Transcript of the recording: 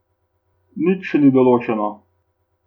Nič še ni odločeno.